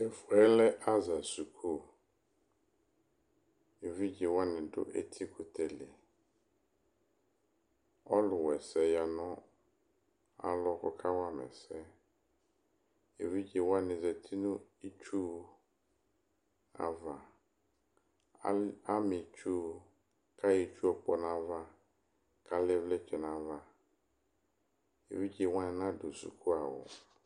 Ɛfʋ yɛ lɛ aza sʋkʋ evidze wani dʋ etikʋtɛ li ɔlʋ waɛsɛ yanʋ alɔ kʋ ɔkawa ma ɛsɛ evidze wani zati nʋ itsu ava ama itsu kʋ ayɔ itsu kpɔ nʋ ayʋ ava kʋ alɛ ivlitsɛ nʋ ayʋ ava evidze wani nadʋ sʋkʋawʋ